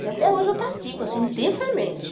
E até hoje eu pratico, assim, intensamente.